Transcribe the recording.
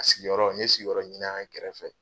A sigiyɔrɔ n ye sigiyɔrɔ ɲini an gɛrɛfɛ